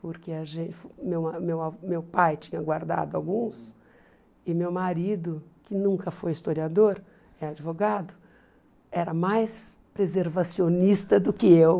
Porque a gente meu a meu a meu pai tinha guardado alguns e meu marido, que nunca foi historiador, é advogado, era mais preservacionista do que eu.